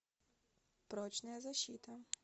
прочная защита